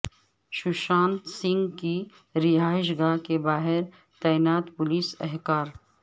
سوشانت سنگھ کی رہائش گاہ کے باہر تعینات پولیس اہکار